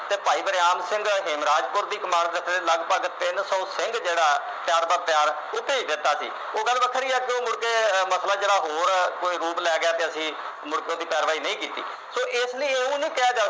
ਤੇ ਭਾਈ ਵਰਿਆਮ ਸਿੰਘ ਹਿੰਮਰਾਜਪੁਰ ਦੀ ਕਮਾਨ ਥੱਲੇ ਲਗਭਗ ਤਿੰਨ ਸੌ ਸਿੰਘ ਜਿਹੜਾ ਤਿਆਰ ਬਰ ਤਿਆਰ ਉਥੇ ਸੀ ਉਹ ਗੱਲ ਵੱਖਰੀ ਆ ਜੋ ਮੁੜਕੇ ਅਹ ਮਸਲਾ ਜਿਹੜਾ ਹੋਰ ਕੋਈ ਰੂਪ ਲੈ ਗਿਆ ਤੇ ਅਸੀਂ ਮੁੜਕੇ ਉਹਦੀ ਕਾਰਵਾਈ ਨਹੀਂ ਕੀਤੀ ਸੋ ਇਸ ਲਈ ਉਹਨੂੰ ਕਿਹਾ